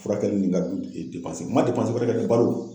Furakɛli nin n ka du n man wɛrɛ kɛ dɛ balo.